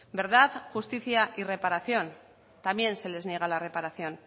verdad justicia y reparación también se les niega la reparación